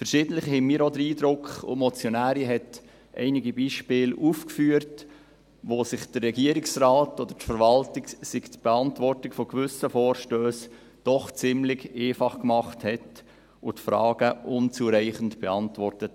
Verschiedentlich hatten wir auch den Eindruck – die Motionärin hat einige Beispiele aufgeführt –, der Regierungsrat oder die Verwaltung hätten sich die Beantwortung von gewissen Vorstössen doch ziemlich einfach gemacht und die Fragen unzureichend beantwortet.